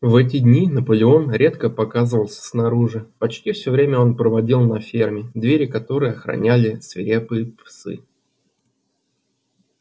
в эти дни наполеон редко показывался снаружи почти все время он проводил на ферме двери которой охраняли свирепые псы